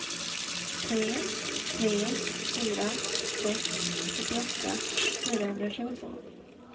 tre tre fyra sex fyrtioåtta fyrahundratjugotvå